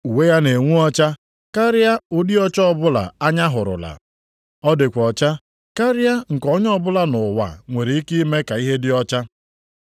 Uwe ya na-enwu ọcha karịa ụdị ọcha ọbụla anya hụrụla. Ọ dịkwa ọcha karịa nke onye ọbụla nʼụwa nwere ike ime ka ihe dị ọcha.